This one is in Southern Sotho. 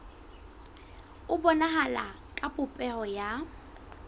e bonahala ka popeho ya